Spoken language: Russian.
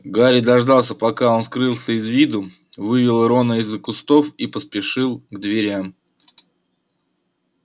гарри дождался пока он скрылся из виду вывел рона из-за кустов и поспешил к дверям